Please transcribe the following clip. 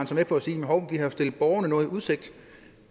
så med på at sige hov vi har jo stillet borgerne noget i udsigt